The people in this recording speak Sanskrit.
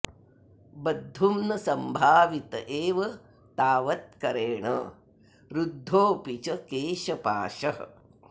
बद्धुं न संभावित एव तावत्करेण रुद्धोऽपि च केशपाशः